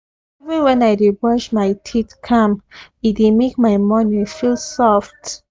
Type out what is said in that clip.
even when i dey brush my teeth calm e dey make my morning feel soft